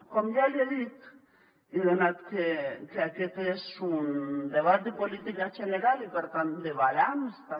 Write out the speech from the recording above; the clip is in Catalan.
com ja li he dit i donat que aquest és un debat de política general i per tant de balanç també